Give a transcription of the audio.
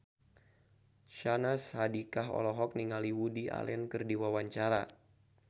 Syahnaz Sadiqah olohok ningali Woody Allen keur diwawancara